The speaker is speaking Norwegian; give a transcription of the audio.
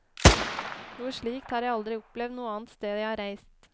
Noe slikt har jeg aldri opplevd noe annet sted jeg har reist.